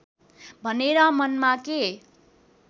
भनेर मनमा के